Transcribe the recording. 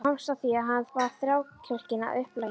Hann komst að því að hann var þrákelkinn að upplagi.